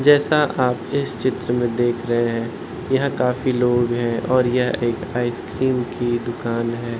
जैसा आप इस चित्र में देख रहे हैं यहाँ काफी लोग हैं और यह एक आइसक्रीम की दुकान है।